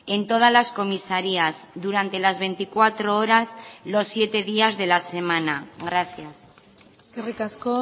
en todas las comisarías durante las veinticuatro horas los siete días de la semana gracias eskerrik asko